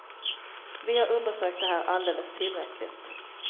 Vi har undersökt det här alldeles tillräckligt.